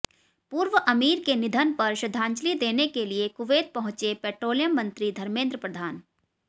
पूर्व अमीर के निधन पर श्रद्धांजलि देने के लिए कुवैत पहुंचे पेट्रोलियम मंत्री धर्मेंद्र प्रधान